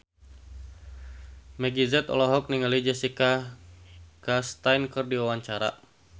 Meggie Z olohok ningali Jessica Chastain keur diwawancara